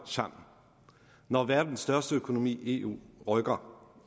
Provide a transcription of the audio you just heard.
sammen når verdens største økonomi eu rykker